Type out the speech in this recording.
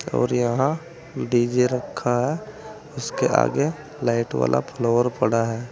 और यहां डी_जे रखा है उसके आगे लाइट वाला फ्लोर पड़ा है।